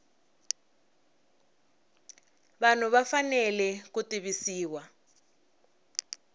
vanhu va fanele ku tivisiwa